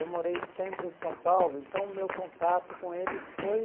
Eu morei sempre em São Paulo, então meu contato com eles foi...